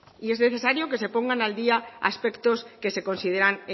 y es necesario que se pongan al días aspectos que se consideran